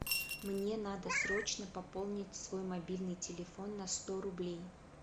мне надо срочно пополнить свой мобильный телефон на сто рублей